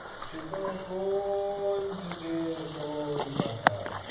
সে তো কোন যুগের কোন কথা।